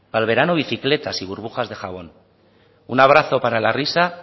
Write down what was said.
para el verano bicicletas y burbujas de jabón un abrazo par la risa